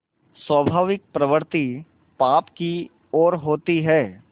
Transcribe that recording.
स्वाभाविक प्रवृत्ति पाप की ओर होती है